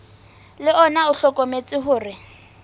le ona o hlokometse hore